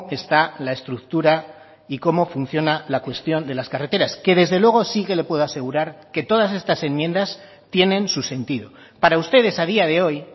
está la estructura y cómo funciona la cuestión de las carreteras que desde luego sí que le puedo asegurar que todas estas enmiendas tienen su sentido para ustedes a día de hoy